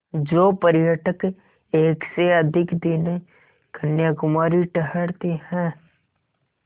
जो पर्यटक एक से अधिक दिन कन्याकुमारी ठहरते हैं